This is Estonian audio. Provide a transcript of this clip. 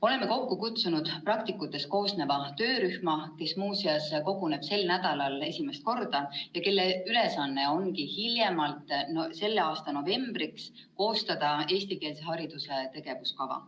" Oleme kokku kutsunud praktikutest koosneva töörühma, kes koguneb sel nädalal esimest korda ja kelle ülesanne ongi hiljemalt selle aasta novembriks koostada eestikeelse hariduse tegevuskava.